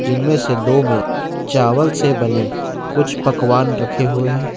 इनमें से दो में चावल से बने कुछ पकवान रखे हुए हैं।